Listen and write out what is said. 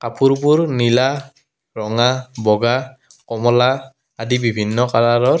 কাপোৰবোৰ নীলা ৰঙা বগা কমলা আদি বিভিন্ন কালাৰৰ।